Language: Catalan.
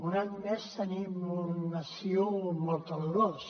un any més tenim un estiu molt calorós